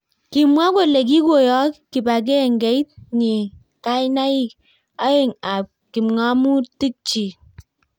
Kimwa kole kikoyok kibangengeit nyi kainak aeng ab kipng'omutik chik